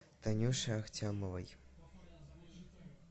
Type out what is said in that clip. танюше ахтямовой